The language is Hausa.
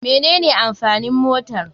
Mene ne amfanin motar.